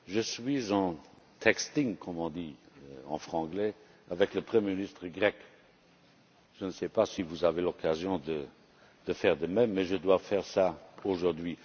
Je suis en texting, comme on dit en franglais, avec le Premier ministre grec. Je ne sais pas si vous avez l'occasion de faire de même, mais je dois faire cela aujourd'hui.